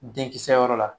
Denkisɛ yɔrɔ la